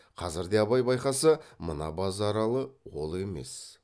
қазірде абай байқаса мына базаралы ол емес